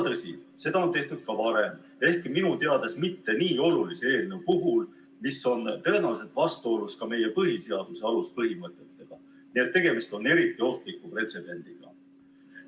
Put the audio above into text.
Tõsi, seda on tehtud ka varem, ehkki minu teada mitte nii olulise eelnõu puhul, mis on tõenäoliselt vastuolus meie põhiseaduse aluspõhimõtetega, nii et tegemist on eriti ohtliku pretsedendiga.